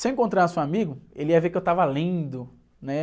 Se eu encontrasse um amigo, ele ia ver que eu estava lendo, né?